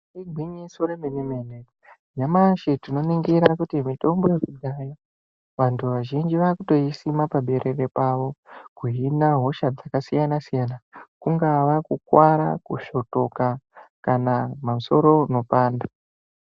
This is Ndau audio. Igwinyiso remene-mene nyamashi tinoningira kuti mitombo yakudhaya vantu vazhinji vakutoisima paberere pavo. Kuhina hosha dzakasiyana-siyana, kungava kukuvara kusvotoka kana musoro unopanda.